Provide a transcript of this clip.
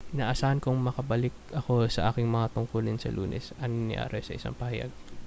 inaasahan kong makababalik ako sa aking mga tungkulin sa lunes ani arias sa isang pahayag